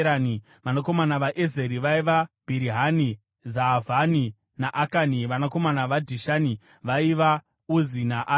Vanakomana vaEzeri vaiva: Bhirihani, Zaavhani naAkani. Vanakomana vaDhishani vaiva: Uzi naArani.